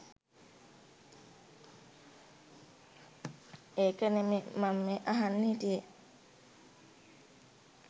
ඒක නෙමේ මම මේ අහන්න හිටියේ